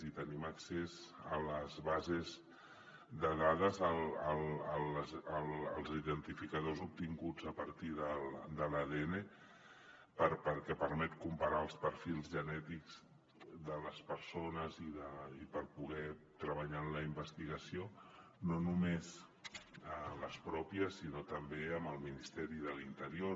i tenim accés a les bases de dades als identificadors obtinguts a partir de l’adn perquè permeten comparar els perfils genètics de les persones i per poder treballar en la investigació no només en les pròpies sinó també amb el ministeri de l’interior